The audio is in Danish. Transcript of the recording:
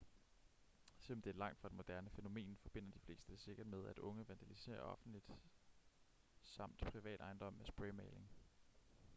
selvom det er langt fra et moderne fænomen forbinder de fleste det sikkert med at unge vandaliserer offentlig samt privat ejendom med spraymaling